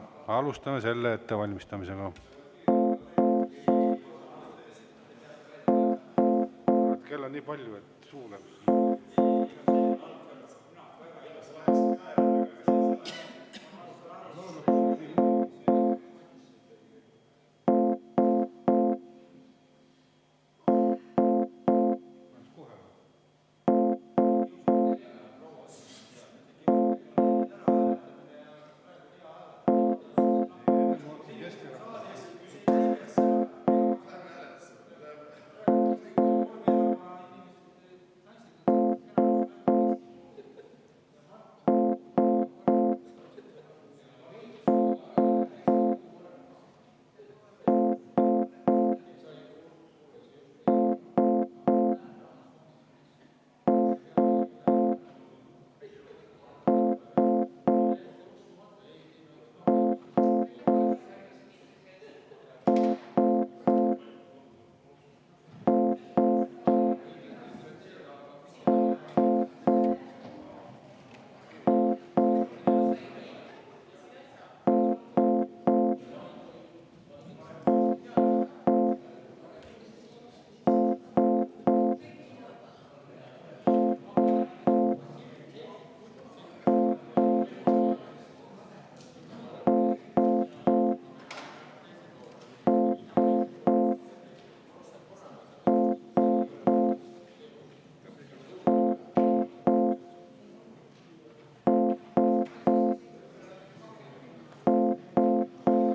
Alustame ettevalmistamist.